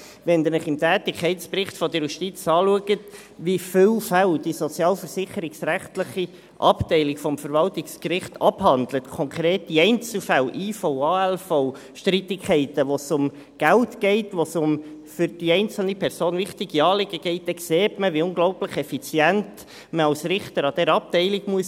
Wenn Sie sich im Tätigkeitsbericht der Justiz anschauen, wie viele Fälle die sozialversicherungsrechtliche Abteilung des Verwaltungsgerichts abhandelt – konkrete Einzelfälle, Invalidenversicherung (IV), Arbeitslosenversicherung (ALV), Streitigkeiten, in denen es um Geld geht, in denen es um für die einzelne Person wichtige Anliegen geht –, dann sieht man, wie unglaublich effizient man als Richter an dieser Abteilung sein muss.